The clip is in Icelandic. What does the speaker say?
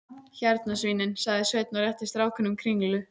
Hérna svínin, sagði Sveinn og rétti strákunum kringlu.